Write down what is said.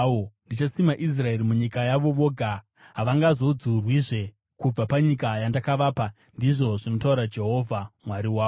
Ndichasima Israeri munyika yavo voga, havangazodzurwizve kubva panyika yandakavapa,” ndizvo zvinotaura Jehovha Mwari wako.